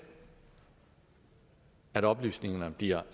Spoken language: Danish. at oplysningerne bliver